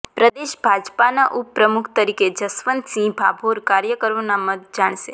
પ્રદેશ ભાજપાના ઉપપ્રમુખ તરીકે જશવંતસિંહ ભાભોર કાર્યકરોના મત જાણશે